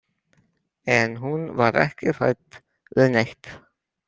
En hún var ekki hrædd við neitt?